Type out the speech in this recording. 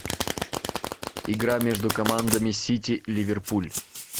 игра между командами сити ливерпуль